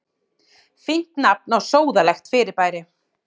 Fínt nafn á sóðalegt fyrirbæri.